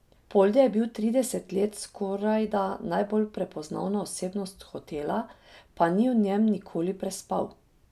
Polde je bil trideset let skorajda najbolj prepoznavna osebnost hotela, pa ni v njem nikoli prespal.